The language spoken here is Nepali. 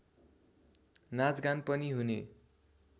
नाचगान पनि हुने